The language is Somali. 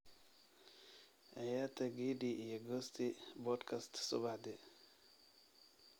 ciyaarta gidi iyo gosti podcast subaxdii